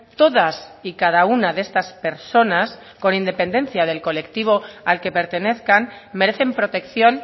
todas y cada una de estas personas con independencia del colectivo al que pertenezcan merecen protección